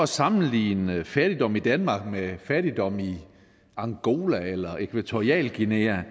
sammenligne fattigdom i danmark med fattigdom i angola eller ækvatorialguinea